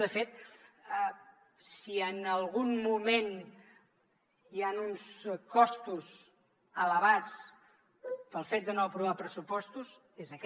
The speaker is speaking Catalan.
de fet si en algun moment hi han uns costos elevats pel fet de no aprovar pressupostos és aquest